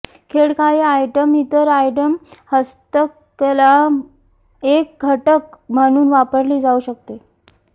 खेळ काही आयटम इतर आयटम हस्तकला एक घटक म्हणून वापरली जाऊ शकते